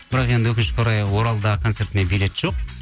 бірақ енді өкінішке орай оралдағы концертіме билет жоқ